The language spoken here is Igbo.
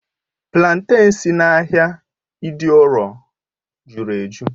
Platen si n'ahịa idioro jụrụ ejụ́